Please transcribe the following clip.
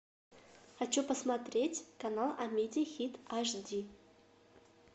хочу посмотреть канал амедиа хит аш ди